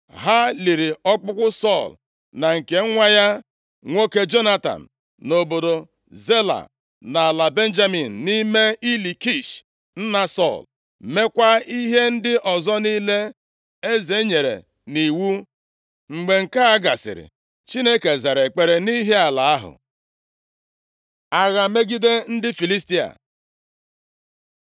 Ha liri ọkpụkpụ Sọl na nke nwa ya nwoke Jonatan nʼobodo Zela nʼala Benjamin, nʼime ili Kish nna Sọl, meekwa ihe ndị ọzọ niile eze nyere nʼiwu. Mgbe nke a gasịrị, Chineke zara ekpere nʼihi ala ahụ. Agha megide ndị Filistia